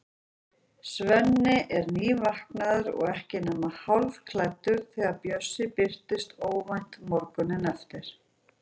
Svenni er nývaknaður og ekki nema hálfklæddur þegar Bjössi birtist óvænt morguninn eftir.